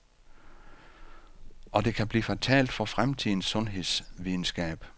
Og det kan blive fatalt for fremtidens sundhedsvidenskab.